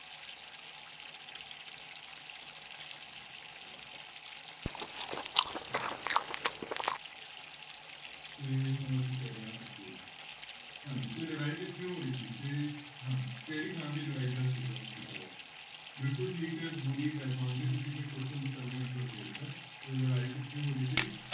ਤੇ ਹੁਣ ਅਸੀਂ ਕਰ ਰਹੇ ਹਾਂ ਅੱਗੇ ਹਾਂਜੀ ਤੇ ਲੜਾਈ ਕਿੱਥੇ ਹੋ ਰਹੀ ਸੀ ਤੇ ਹਾਂ ਕਿਹੜੀ ਥਾਂ ਤੇ ਲੜਾਈ ਦਾ ਸੀਗਾ ਜ਼ਿਕਰ ਬਿਲਕੁਲ ਠੀਕ ਹੈ ਗੁਰੀ ਤੁਸੀਂ ਤੇ question ਤੋਂ ਪਹਿਲਾਂ ਹੀ answer ਦੇ ਦਿੱਤਾ ਹੈ ਤੇ ਲੜਾਈ ਕਿੱਥੇ ਹੋ ਰਹੀ ਸੀ।